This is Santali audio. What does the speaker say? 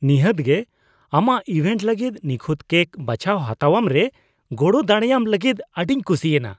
ᱱᱤᱦᱟᱹᱛ ᱜᱮ ! ᱟᱢᱟᱜ ᱤᱵᱷᱮᱱᱴ ᱞᱟᱹᱜᱤᱫ ᱱᱤᱠᱷᱩᱛ ᱠᱮᱠ ᱵᱟᱪᱷᱟᱣ ᱦᱟᱛᱟᱣᱟᱢ ᱨᱮ ᱜᱚᱲᱚ ᱫᱟᱲᱮᱭᱟᱢ ᱞᱟᱹᱜᱤᱫ ᱟᱹᱰᱤᱧ ᱠᱩᱥᱤ ᱮᱱᱟ ᱾